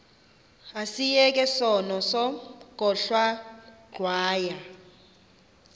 asiyeke sono smgohlwaywanga